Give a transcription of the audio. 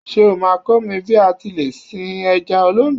Ṣé o máa kọ́ mi bí a ti lè sin ẹja olóńgbò.?